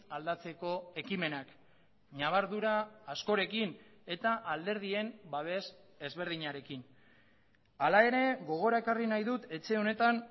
aldatzeko ekimenak ñabardura askorekin eta alderdien babes ezberdinarekin hala ere gogora ekarri nahi dut etxe honetan